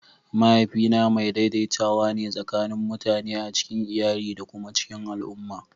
Mahaifina mai daidaitawa ne tsakanin mutane a cikin iyali da kuma cikin al'umma.